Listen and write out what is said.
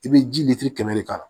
I bɛ ji kɛmɛ de ka